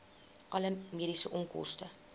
alle mediese onkoste